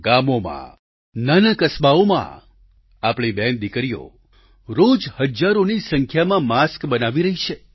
ગામોમાં નાના કસ્બાઓમાં આપણી બહેનદિકરીઓ રોજ હજારોની સંખ્યામાં માસ્ક બનાવી રહી છે